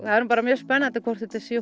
það er nú bara mjög spennandi hvort þetta er